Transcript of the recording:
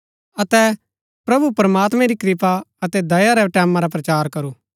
अतै प्रभु प्रमात्मैं री कृपा अतै दया रै टैमां रा प्रचार करूं